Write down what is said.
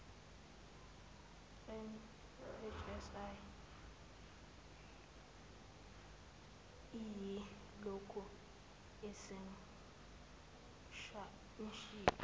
mhsi iyilokhu isemshika